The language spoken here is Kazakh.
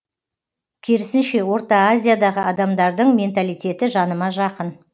керісінше орта азиядағы адамдардың менталитеті жаныма жақын